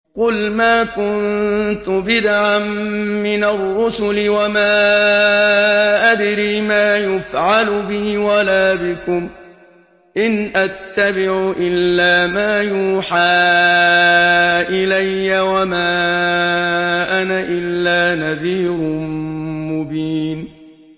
قُلْ مَا كُنتُ بِدْعًا مِّنَ الرُّسُلِ وَمَا أَدْرِي مَا يُفْعَلُ بِي وَلَا بِكُمْ ۖ إِنْ أَتَّبِعُ إِلَّا مَا يُوحَىٰ إِلَيَّ وَمَا أَنَا إِلَّا نَذِيرٌ مُّبِينٌ